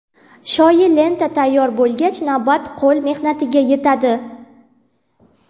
Shoyi lenta tayyor bo‘lgach, navbat qo‘l mehnatiga yetadi.